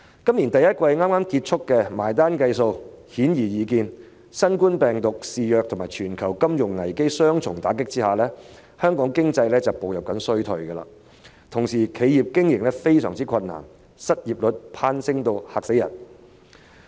今年第一季剛剛結束，只須計算一下便顯然易見，在新型冠狀病毒疫情肆虐及全球金融危機的雙重打擊下，香港經濟正步入衰退，同時企業經營亦相當困難，失業率攀升至令人害怕的水平。